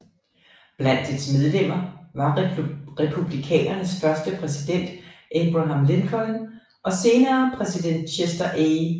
Blandt dets medlemmer var republikanernes første præsident Abraham Lincoln og senere præsident Chester A